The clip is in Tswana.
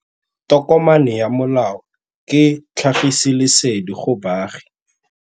Tokomane ya molao ke tlhagisi lesedi go baagi.